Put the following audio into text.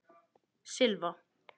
Silva